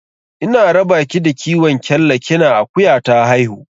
Ina raba ki da kiwon kyalla kina akuya ta haihu.